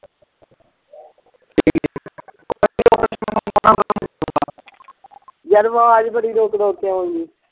ਯਾਰ ਆਵਾਜ਼ ਬੜੀ ਰੁਕ-ਰੁਕ ਕੇ ਆਉਣ ਦਈ।